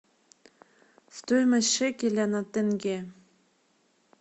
стоимость шекеля на тенге